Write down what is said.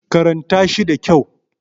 karanta shi da kyau!